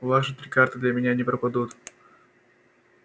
ваши три карты для меня не пропадут